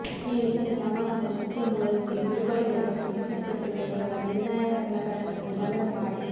ಈ ಹೆಚ್ಚಿನ ಸಾಮರ್ಥ್ಯದ ಶಕ್ತಿಯ ಮೂಲದೊಂದಿಗೆ ಬಿರುಗಾಳಿಗಳು ಮತ್ತು ವಿದ್ಯುತ್ ಕಡಿತದ ಮೂಲಕ ನಿರ್ಣಾಯಕ ಸಲಕರಣೆಗಳನ್ನು ಚಾಲನೆ ಮಾಡಿ